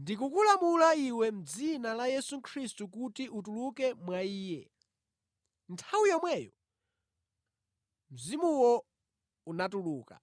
“Ndikukulamula iwe mʼdzina la Yesu Khristu kuti utuluke mwa iye!” Nthawi yomweyo mzimuwo unatuluka.